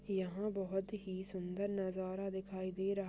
यहाँ बहुत ही सुंदर नजारा दिखाई दे रहा--